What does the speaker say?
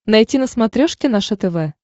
найти на смотрешке наше тв